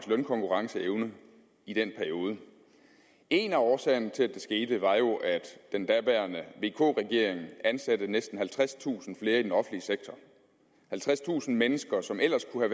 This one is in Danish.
lønkonkurrenceevne i den periode en af årsagerne til at det skete var jo at den daværende vk regering ansatte næsten halvtredstusind flere i den offentlige sektor halvtredstusind mennesker som ellers kunne